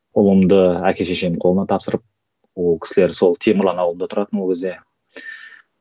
ұлымды әке шешемнің қолына тапсырып ол кісілер сол темірлан ауылында тұратын ол кезде